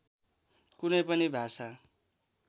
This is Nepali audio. कुनै पनि भाषा